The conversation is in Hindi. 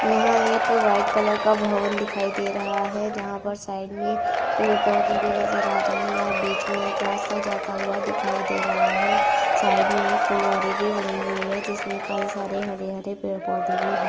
यहां एक व्हाइट कलर का भवन दिखाई दे रहा है जहां पर साइड में पेड़ पौधे भी नजर आ रहे हैं। यहां बीच में एक रास्ता जाता हुआ दिखाई दे रहा है। साइड में एक फुलवारी भी बनी हुई है जिसमें कई सारे हरे-हरे पेड़ पौधे भी हैं।